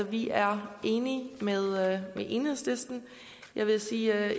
vi er enige med enhedslisten jeg vil sige at